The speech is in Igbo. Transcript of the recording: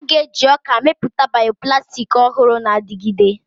A ga-eji ọka mepụta bioplastics ọhụrụ na-adigide.